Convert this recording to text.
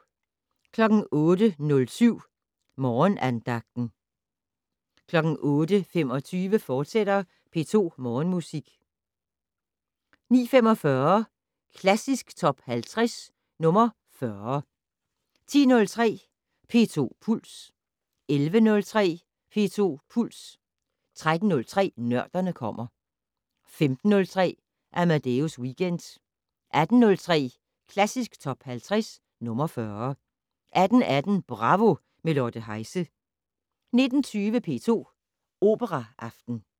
08:07: Morgenandagten 08:25: P2 Morgenmusik, fortsat 09:45: Klassisk Top 50 - nr. 40 10:03: P2 Puls 11:03: P2 Puls 13:03: Nørderne kommer 15:03: Amadeus Weekend 18:03: Klassisk Top 50 - nr. 40 18:18: Bravo - med Lotte Heise 19:20: P2 Operaaften